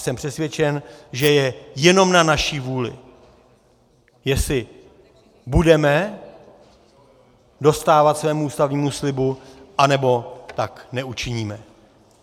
Jsem přesvědčen, že je jenom na naší vůli, jestli budeme dostávat svému ústavnímu slibu, anebo tak neučiníme.